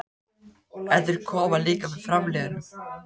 En þeir koma líka með framliðnum.